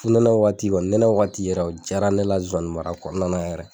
Funɛnɛ waati kɔni nɛnɛ waati yɛrɛ o jaara ne la zozanimara kɔnɔna na yɛrɛ.